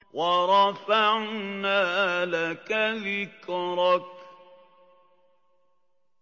وَرَفَعْنَا لَكَ ذِكْرَكَ